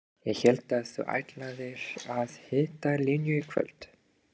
Ég hélt að þú ætlaðir að hitta Linju í kvöld.